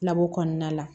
Labɔ kɔnɔna la